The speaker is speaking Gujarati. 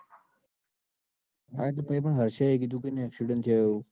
હા એતો કીધું હશે accident એને